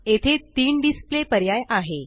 येथे तीन डिसप्ले पर्याय आहे